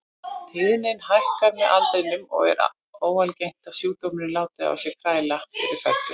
Tíðnin hækkar með aldrinum og er óalgengt að sjúkdómurinn láti á sér kræla fyrir fertugt.